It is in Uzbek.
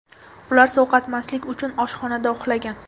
Ular sovqotmaslik uchun oshxonada uxlagan.